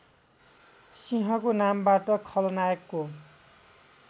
सिंहको नामबाट खलनायकको